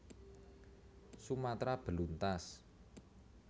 Sumatra beluntas